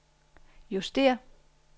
justér